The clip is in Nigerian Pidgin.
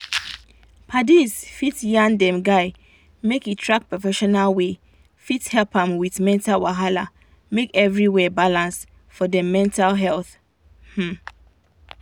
padis fit yan dem guy make he track professional wey fit help am with mental wahala make everywhere balance for dem mental health um